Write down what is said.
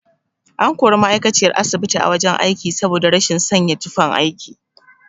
An kori ma'aikaciyar asibiti a wajen aiki saboda rashin sanya tufan aiki.